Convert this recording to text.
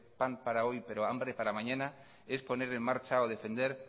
pan para hoy pero hambre para mañana es poner en marcha o defender